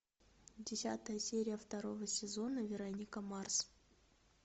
десятая серия второго сезона вероника марс